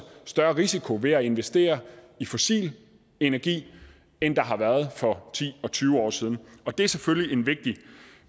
større risiko ved at investere i fossil energi end der har været for ti og tyve år siden det er selvfølgelig en vigtig